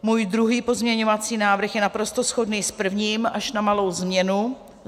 Můj druhý pozměňovací návrh je naprosto shodný s prvním, až na malou změnu.